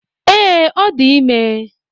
Ee, ọ dị ime